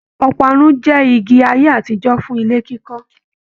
Ọparun jẹ igi ayé àtijọ fún ilé kíkọ.